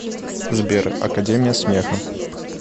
сбер академия смеха